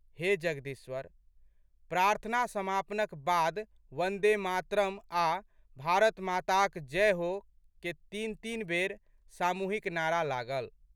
हे जगदीश्वर... प्रार्थना समापनक 'बाद वन्दे मातरम् आ' भारतमाताक जय हो'क तीनतीन बेर सामूहिक नारा लागल।